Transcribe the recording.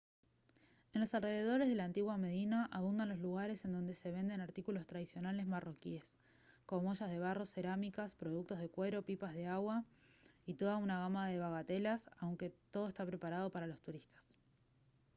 en los alrededores de la antigua medina abundan los lugares en donde se venden artículos tradicionales marroquíes como ollas de barro cerámicas productos de cuero pipas de agua y toda una gama de bagatelas aunque todo está preparado para los turistas